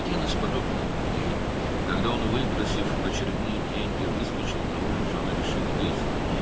Belə günlərin birində, o, növbəti pulları yalvarıb aldıqdan sonra küçəyə çıxanda, qadın hərəkət etməyə qərar verdi.